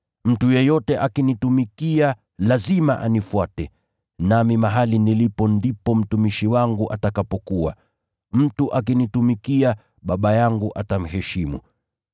Mtu yeyote akinitumikia lazima anifuate, nami mahali nilipo ndipo mtumishi wangu atakapokuwa. Mtu akinitumikia, Baba yangu atamheshimu.